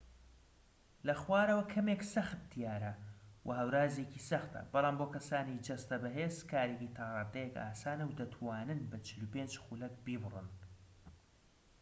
لە خوارەوە کەمێك سەخت دیارە، وە هەورازێکی سەختە، بەڵام بۆ کەسانی جەستە بەهێز کارێکی تا ڕادەیەك ئاسانە و دەتوانن بە ٤٥ خولەك بیبڕن